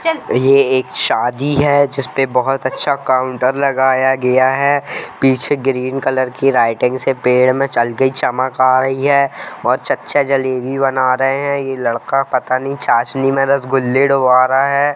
यह एक शादी हे जिसपे बहुत अच्छा काउंटर लगाया गया हे पीछे ग्रीन कलर की लाइटिंग से पेड़ मे जल्दी चमक आ रही हे और चच्चा जलेबी बना रहे हे यह लड़का पता नहीं चासनी मे रसगुल्ले डूब रह हे।